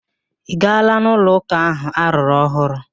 Ị gaala n'ụlo ụka ahụ arụrụ ọhụrụ?